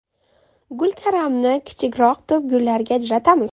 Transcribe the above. Gulkaramni kichikroq to‘pgullarga ajratamiz.